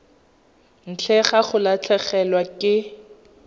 ntle ga go latlhegelwa ke